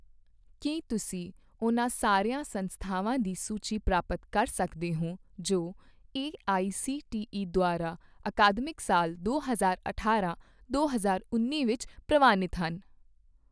ਕੀ ਤੁਸੀਂ ਉਹਨਾਂ ਸਾਰੀਆਂ ਸੰਸਥਾਵਾਂ ਦੀ ਸੂਚੀ ਪ੍ਰਾਪਤ ਕਰ ਸਕਦੇ ਹੋ ਜੋ ਏਆਈਸੀਟੀਈ ਦੁਆਰਾ ਅਕਾਦਮਿਕ ਸਾਲ ਦੋ ਹਜ਼ਾਰ ਅਠਾਰਾਂ ਦੋ ਹਜ਼ਾਰ ਉੱਨੀ ਵਿੱਚ ਪ੍ਰਵਾਨਿਤ ਹਨ?